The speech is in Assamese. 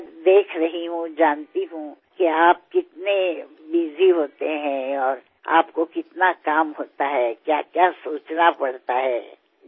মোৰ মৰমৰ দেশবাসীসকল নৱৰাত্ৰিৰ সৈতে আজিৰে পৰা উৎসৱৰ বতৰ পুনৰ বাৰ নতুন উৎসাহ নতুন শক্তি নতুন উদ্দীপনা নতুন সংকল্পৰে পূৰ্ণ হৈ উঠিব